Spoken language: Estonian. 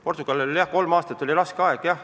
Portugalil oli kolm aastat tõesti raske aeg.